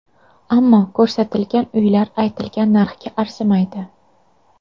Ammo ko‘rsatilgan uylar aytilgan narxga arzimaydi.